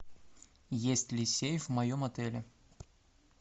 есть ли сейф в моем отеле